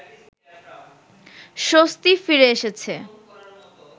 স্বস্তি ফিরে এসেছে